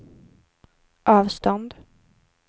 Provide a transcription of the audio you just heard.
avstånd